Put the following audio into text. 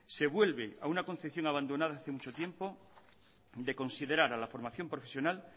se vuelve a una concepción abandonada hace mucho tiempo de considerar a la formación profesional